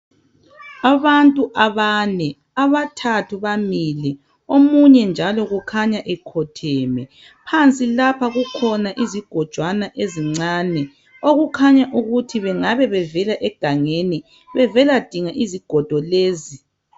Abantu abane, abathathu bamile ,omunye njalo kukhanya ekhotheme. Phansi lapha kukhona izigojwana ezincane okukhanya ukuthi bengabe bevela egangeni bevela dinga izigodo lezi.